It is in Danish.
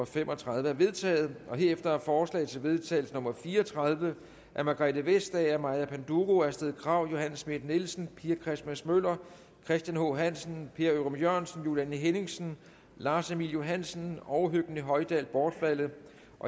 fem og tredive er vedtaget herefter er forslag til vedtagelse nummer v fire og tredive af margrethe vestager maja panduro astrid krag johanne schmidt nielsen pia christmas møller christian h hansen per ørum jørgensen juliane henningsen lars emil johansen og høgni hoydal bortfaldet